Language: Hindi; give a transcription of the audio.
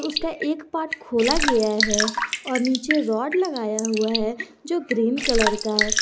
उसका एक पार्ट खोला गया है और नीचे रॉड लगाया हुआ है जो ग्रीन कलर का है।